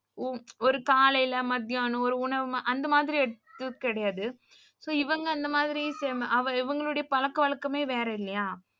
ஒரு காலைல மத்தியானம் ஒரு உணவு அந்த மாதிரி எடுத்தது கிடையாது. இவங்க இந்த மாரி இவங்களுடைய பழக்க வழக்கமே வேற இல்லையா.